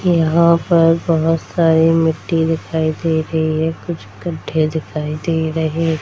यहाँ पर बहोत सारी मिट्टी दिखाई दे रही है कुछ गड्डे दिखाई दे रहे --